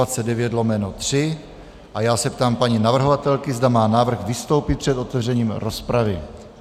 A já se ptám paní navrhovatelky, zda má zájem vystoupit před otevřením rozpravy.